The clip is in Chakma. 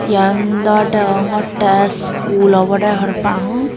iyan dw degongotte school obode parapang.